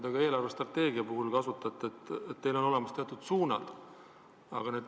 Ka eelarvestrateegiast rääkides te ütlesite, et teil on paika pandud teatud suunad.